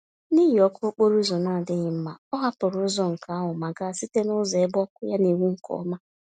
N'ihi ọkụ okporo ụzọ na-adịghị mma, ọ hapụrụ ụzọ nke ahụ ma gaa site nụzọ ebe ọkụ ya n'enwu nke ọma.